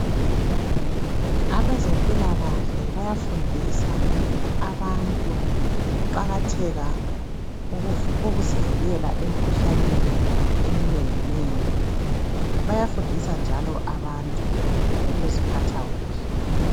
Abezempilakahle bayafundisa abantu ngokuqakatheka kokuzivikela emkhuhlaneni eminenginengi. Bayafundisa njalo abantu ngokuziphatha kuhle.